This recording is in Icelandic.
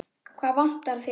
Hvað vantar þig?